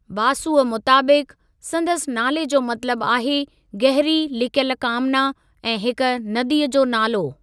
बासुअ मुताबिक़, संदसि नाले जो मतलबु आहे 'गहरी लिकियलु कामना' ऐं हिक नदीअ जो नालो।